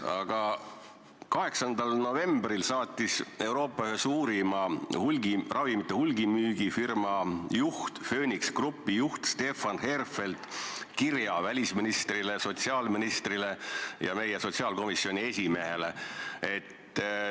Aga 8. novembril saatis Euroopa ühe suurima ravimite hulgimüügifirma, Phoenix Groupi juht Stefan Herfeld kirja meie välisministrile, sotsiaalministrile ja sotsiaalkomisjoni esimehele.